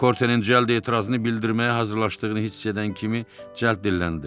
Okortenin cəld etirazını bildirməyə hazırlaşdığını hiss edən kimi cəld dilləndi.